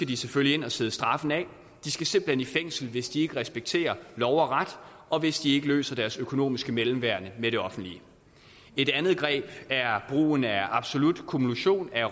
de selvfølgelig ind og sidde straffen af de skal simpelt hen i fængsel hvis de ikke respekterer lov og ret og hvis de ikke løser deres økonomiske mellemværende med det offentlige et andet greb er brugen af absolut kumulation af